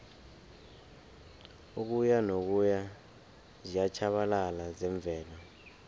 ukuyanokuya ziyatjhabalala zemvelo